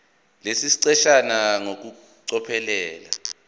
lesi siqeshana ngokucophelela